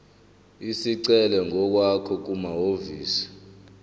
isicelo ngokwakho kumahhovisi